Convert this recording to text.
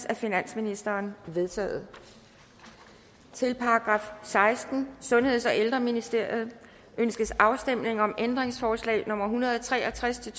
af finansministeren de er vedtaget til § sekstende sundheds og ældreministeriet ønskes afstemning om ændringsforslag nummer en hundrede og tre og tres til